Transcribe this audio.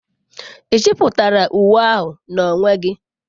Ị chepụtara uwe ahụ n'onwe gị?